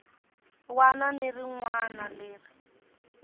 wana ni rin wana leri